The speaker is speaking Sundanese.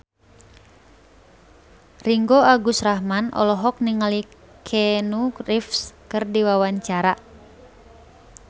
Ringgo Agus Rahman olohok ningali Keanu Reeves keur diwawancara